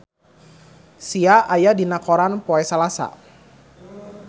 Sia aya dina koran poe Salasa